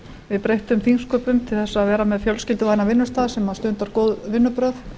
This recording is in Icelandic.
við breyttum þingsköpum til þess að vera með fjölskylduvænan vinnustað sem stundar góð vinnubrögð